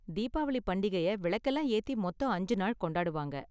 தீபாவளி பண்டிகைய விளக்கெல்லாம் ஏத்தி மொத்தம் அஞ்சு நாள் கொண்டாடுவாங்க.